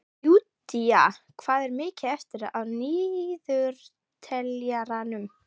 Júdea, hvað er mikið eftir af niðurteljaranum?